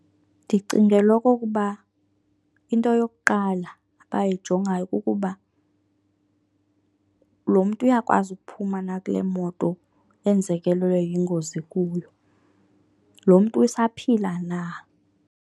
Ndicingela okokuba into yokuqala abayijongayo kukuba, lo mntu uyakwazi ukuphuma na kule moto enzekelwe yingozi kuyo? Lo mntu usaphila na?